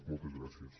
moltes gràcies